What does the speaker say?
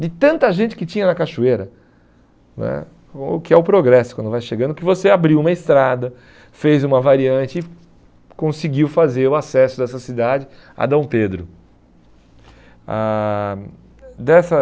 de tanta gente que tinha na cachoeira né, o que é o progresso quando vai chegando, que você abriu uma estrada, fez uma variante e conseguiu fazer o acesso dessa cidade a Dom Pedro. Ãh dessa